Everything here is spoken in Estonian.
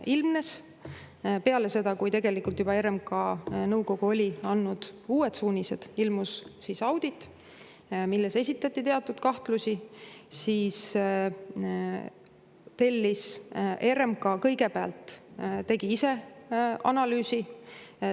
Kui peale seda, kui tegelikult juba RMK nõukogu oli andnud uued suunised, ilmus Riigikontrolli audit, milles esitati teatud kahtlusi, siis tegi RMK kõigepealt ise analüüsi.